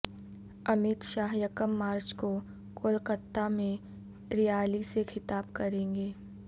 امیت شاہ یکم مارچ کو کولکاتا میں ریالی سے خطاب کریں گے